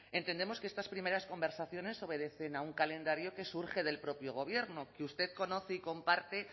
entendemos que estas primeras conversaciones obedecen a un calendario que surge del propio gobierno que usted conoce y comparte